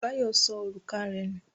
Báyọ̀ sọ òrùka rẹ̀ nù.